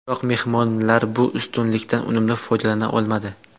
Biroq mehmonlar bu ustunlikdan unumli foydalana olmadi.